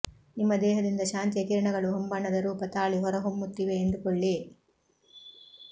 ನಿಮ್ಮ ದೇಹದಿಂದ ಶಾಂತಿಯ ಕಿರಣಗಳು ಹೊಂಬಣ್ಣದ ರೂಪ ತಾಳಿ ಹೊರಹೊಮ್ಮುತ್ತಿವೆ ಎಂದುಕೊಳ್ಳಿ